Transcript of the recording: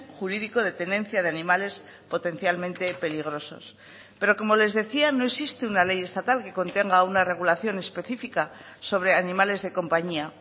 jurídico de tenencia de animales potencialmente peligrosos pero como les decía no existe una ley estatal que contenga una regulación específica sobre animales de compañía